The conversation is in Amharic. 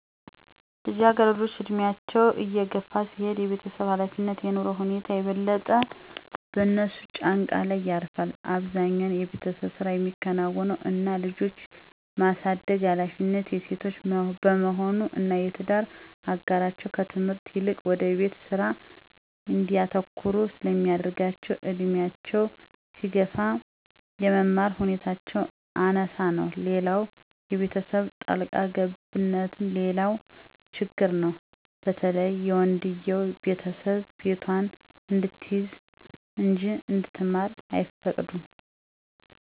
ልጃገረዶች ዕድሜያቸው እየገፋ ሲሄድ የቤተሰብ ኃላፊነት (የኑሮ ሁኔታ) የበለጠ በእነሱ ጫንቃ ላይ ያርፋል። አብዛኛው የቤተሰብ ስራ ሚከናወነው እና ልጅ የማሳደግ ሀላፊነት የሴቶች በመሆኑ እና የትዳር አጋራቸው ከትምህርት ይልቅ ወደ ቤት ስራ እንዲያተኩሩ ስለሚያደረጋቸው እድሜያቸው ሲገፋ የመማር ሁኔታቸው አናሳ ነው። ሌላው የቤተሰብ ጣልቃ ገብነትም ሌላው ችግር ነው በተለይ የወንድየው ቤተሰብ ቤቷን እንድትይዝ እንጂ እንድትማር አይፈቅዱም።